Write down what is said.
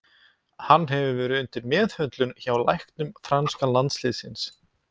Hann hefur verið undir meðhöndlun hjá læknum franska landsliðsins.